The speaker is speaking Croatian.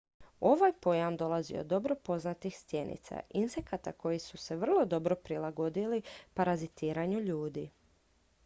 ovaj pojam dolazi od dobro poznatih stjenica insekata koji su se vrlo dobro prilagodili parazitiranju ljudi